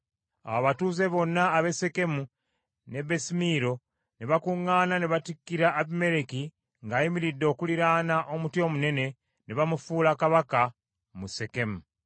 Awo abatuuze bonna ab’e Sekemu n’e Besimiiro ne bakuŋŋaana ne batikkira Abimereki ng’ayimiridde okuliraana omuti omunene, ne bamufuula kabaka mu Sekemu.